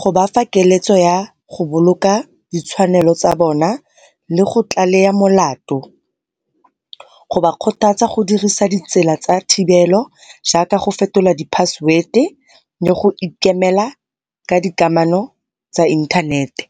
go ba fa keletso ya go boloka ditshwanelo tsa bona, lego tlalea molato. Go ba kgothatsa go dirisa ditsela tsa thibelo jaaka go fetola di-password-e le go ikemela ka di kamano tsa inthanete.